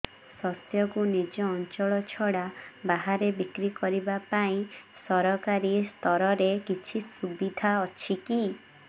ଶସ୍ୟକୁ ନିଜ ଅଞ୍ଚଳ ଛଡା ବାହାରେ ବିକ୍ରି କରିବା ପାଇଁ ସରକାରୀ ସ୍ତରରେ କିଛି ସୁବିଧା ଅଛି କି